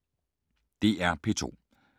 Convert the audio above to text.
DR P2